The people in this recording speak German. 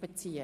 beziehen.